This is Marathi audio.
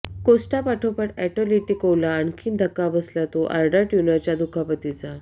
कोस्टापाठोपाठ अॅटलेटिकोला आणखी धक्का बसला तो आर्डा टय़ुरॅनच्या दुखापतीचा